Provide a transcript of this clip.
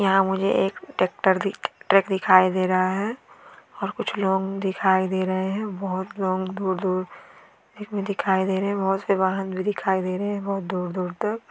यहा मुझे एक ट्रेक्टर दिख ट्रक दिखाई दे रहा है और कुछ लोग दिखाई दे रहे हैं बहोत लोग दूर दूर इसमे दिखाई दे रहे हैं बहोत से वाहन भी दिखाई दे रहे हैं बहोत दूर दूर तक।